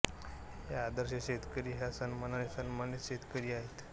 हे आदर्श शेतकरी हा सन्मानाने सन्मानीत शेतकरी आहेत